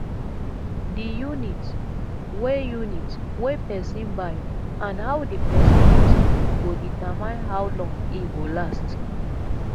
di unit wey unit wey person buy and how di person use am go determine how long e go last